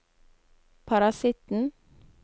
parasitten